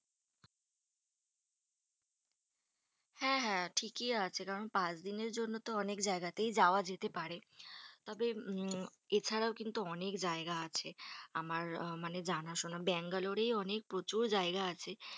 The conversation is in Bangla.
হ্যাঁ হ্যাঁ ঠিকই আছে। কারণ পাঁচদিনের জন্য তো অনেক জায়গাতেই যাওয়া যেতেই পারে। তবে উম এছাড়াও কিন্তু অনেক জায়গা আছে। আমার মানে জানাশোনা। ব্যাঙ্গালোরেই অনেক প্রচুর জায়গা আছে।